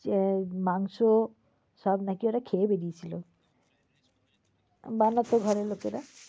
এ মাংস সব নাকি ওরা খেয়ে বেড়িয়ে ছিল। বানাতো ঘরের লোকেরা।